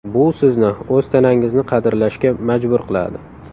Bu sizni o‘z tanangizni qadrlashga majbur qiladi.